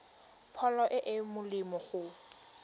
pholo e e molemo go